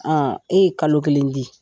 e ye kalo kelen di.